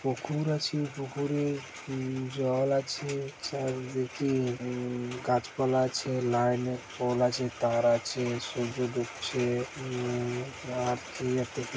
পুকুর আছে পুকুরে উম জল আছে চারি দিকে উ-ম-ম গাছপালা আছে লাইন -এর পোল আছে তার আছে সূর্য ডুবছে উ-ম-ম --